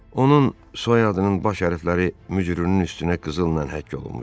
Onun soyadının baş hərfləri mücrünün üstünə qızılla həkk olunmuşdu.